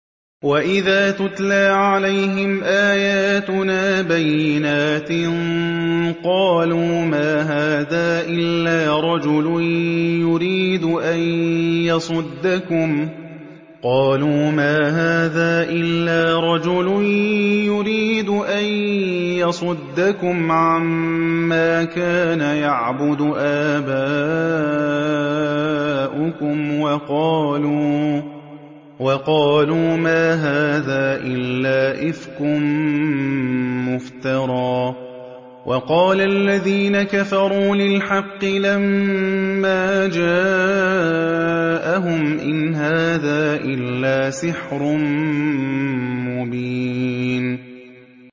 وَإِذَا تُتْلَىٰ عَلَيْهِمْ آيَاتُنَا بَيِّنَاتٍ قَالُوا مَا هَٰذَا إِلَّا رَجُلٌ يُرِيدُ أَن يَصُدَّكُمْ عَمَّا كَانَ يَعْبُدُ آبَاؤُكُمْ وَقَالُوا مَا هَٰذَا إِلَّا إِفْكٌ مُّفْتَرًى ۚ وَقَالَ الَّذِينَ كَفَرُوا لِلْحَقِّ لَمَّا جَاءَهُمْ إِنْ هَٰذَا إِلَّا سِحْرٌ مُّبِينٌ